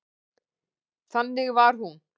Þannig var hún.